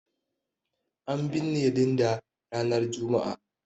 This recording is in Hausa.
An binne Linda ranar Juma'a.